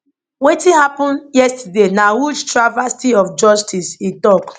wetin happen yesterday na huge travesty of justice e tok